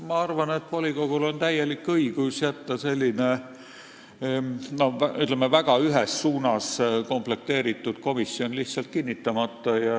Ma arvan, et volikogul on täielik õigus jätta selline, ütleme, väga ühes suunas komplekteeritud komisjon lihtsalt kinnitamata.